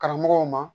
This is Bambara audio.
Karamɔgɔw ma